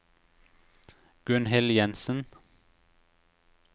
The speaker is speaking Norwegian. Gunnhild Jensen